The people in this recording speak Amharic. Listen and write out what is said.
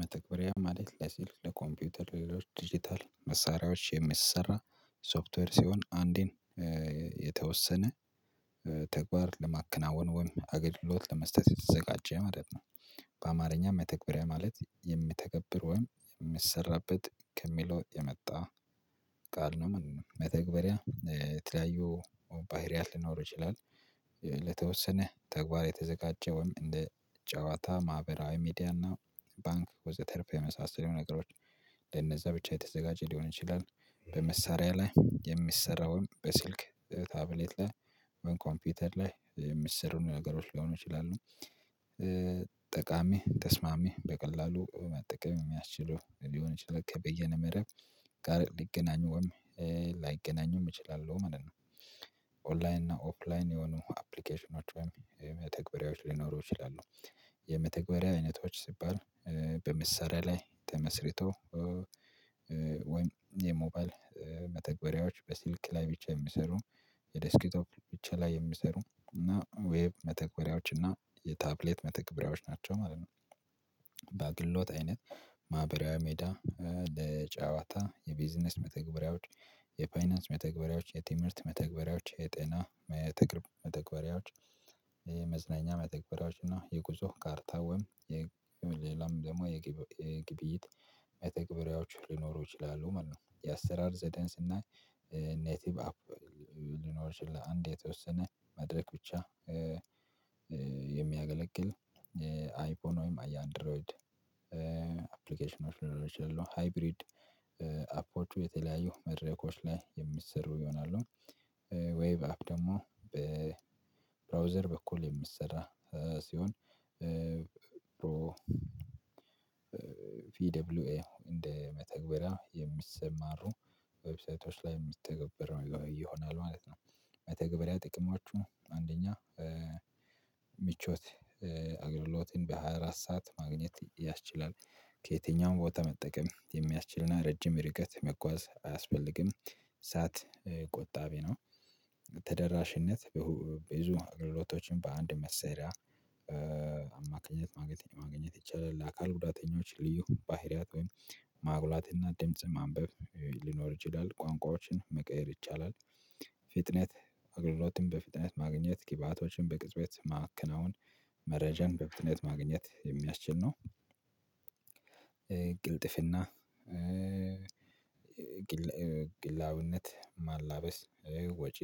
መተግበሪያ ማለት ለልክ ለኮምፒውተር ሌሎች ዲጂታል መሳሪያዎች የሚሰራ ሶፍትዌር ሲሆን አንዴን የተወሰነ ተግባር ለማከናወን ወይም አገልግሎት ለመስጠት የተዘጋጀ ማለት ነው። በአማርኛ መተግበሪያ ማለት የምተገብር ወይም የሚሰራበት ከሚለው የመጣ ቃል ነው መተግበሪያ የተለያዩ ባህሪያት ሊኖር ይችላል። ለተወሰነ ተግባር የተዘጋጀውም እንደ ጨዋታ ማህበራዊ ሚዲያና ባንክ ወዘተረፈ የመሳሰሉ ነገሮች ለነዛ ብቻ የተዘጋጀ ሊሆን ይችላል። በመሳሪያ ላይ የሚሰራውን በስልክ በታብሌት ላይ በኮምፒውተር ላይ የሚሰሩ ነገሮች ሊሆኑ ይችላሉ። ጠቃሚ ተስማሚ በቀላሉ መጠቀም የሚያስችለው ሊሆን ይችላል ከበየነ መረብ ጋር ሊገናኙም ላይገናኙም እችላለሁ ማለት ነው። ኦንላይን እና ኦፍላይን የሆኑ አፕሊኬሽኖች ወይም መተግበሪያዎች ሊኖሩ ይችላሉ። የመተግበሪያ አይነቶች ሲባል በመሳሪያ ላይ ተመስርቶ ወይም የሞባይል መተግበሪያዎች በስልክ ላይ ብቻ የሚሰሩ በደስኪ ቶፕ ብቻ ላይ የሚሰሩ እና ዌብ መተግበሪያዎች እና የታብሌት መተግበሪያዎች ናቸው ማለት ነው። በግሎት አይነት ማህበራዊ ሜዳ ለጨዋታ የቢዝነስ መተግበሪያዎች የፋይናንስ መተግበሪያዎች የትምህርት መተግበሪያዎች የጤና መተግበሪያዎች መዝናኛ መተግበሪያዎች እና የጉዞ ካርታ ወይም የም ሌላም ደግሞ የግብይት መተግበሪያዎች ልኖሩ ይችላሉ ማለት ነው። የአሰራር ዘደን እና ኔቲቭ አፕ ሊኖር ይችላል አንድ የተወሰነ መድረክ ብቻ የሚያገለግል አይፖን ወይም አያንድሮይድ አፕሊኬሽኖች ሊኖን ይችላል ሃይብሪድ አፖቹ የተለያዩ መድረኮች ላይ የሚሰሩ ይሆናሉ። ወይ በአፕ ደግሞ በብራውዘር በኩል የምሰራ ሲሆን ፕሮ ፒደብሊውኤ እንደ መተግበሪያ የሚሰማሩ ዌብሳይቶች ላይ የሚተገበረው ይሆናል ማለት ነው። መተግበሪያ ጥቅማችሁ አንደኛ ምቾት አገልግሎትን በሃያ አራት ሰዓት ማግኘት ያስችላል ከየትኛውም ቦታ መጠቀም የሚያስችልና ረጅም ርቀት መጓዝ አያስፈልግም እሳት ቆጣቢ ነው። ተደራሽነት በ ብዙ አገልግሎቶችን በአንድ መሰሪያ አማካኝነት ማግኘት ማግኘት ይቻላል ለአካል ጉዳተኞች ልዩ ባህሪያት ማጉላትና ድምጽ ማንበብ ሊኖር ይችላል ቋንቋዎችን መቀየር ይቻላል። ፍጥነት አገልግሎትን በፍጥነት ማግኘት ግባቶችን በቅጽበት ማከናወን መረጃን በፍጥነት ማግኘት የሚያስችል ነው። ቅልጥፍና ግል ግላዊነት ማላበስ ወጪ